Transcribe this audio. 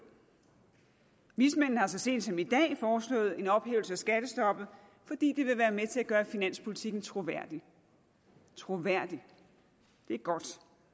vismændene har så sent som i dag foreslået en ophævelse af skattestoppet fordi det vil være med til at gøre finanspolitikken troværdig troværdig det er godt